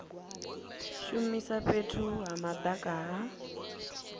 shumisa fhethu ha madaka ha